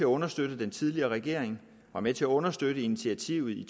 understøtte den tidligere regering var med til at understøtte initiativet i